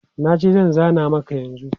Na ji, zan zana maka yanzu.